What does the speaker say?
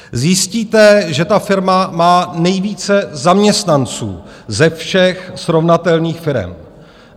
Zjistíte, že ta firma má nejvíce zaměstnanců ze všech srovnatelných firem.